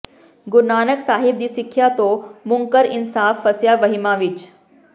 ਗੁਰੂ ਨਾਨਕ ਸਾਹਿਬ ਦੀ ਸਿਖਿਆ ਤੋਂ ਮੁਨਕਰ ਇਨਸਾਨ ਫਸਿਆ ਵਹਿਮਾਂ ਵਿੱਚ